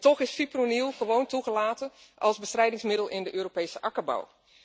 En toch is fipronil gewoon toegelaten als bestrijdingsmiddel in de Europese akkerbouw.